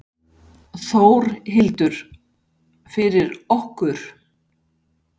Þórhildur: Fyrir okkur?